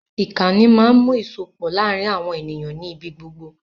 Ìkànì máa ń mú ìsopọ̀ láàrin àwọn ènìyàn nì ibí gbogbo